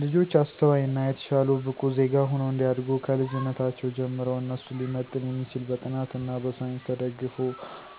ልጆች አስተዋይ እና የተሻሉ ብቁ ዜጋ ሁነው እንዲያድጉ ከልጅነታቸው ጀምረው እነሱን ሊመጥን የሚችል በጥናት እና በሳይንስ ተደግፎ